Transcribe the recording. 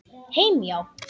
Heim, já.